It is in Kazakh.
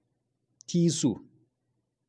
тиісу